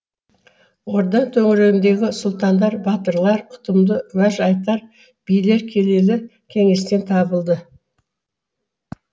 орда төңірегіндегі сұлтандар батырлар ұтымды уәж айтар билер келелі кеңестен табылды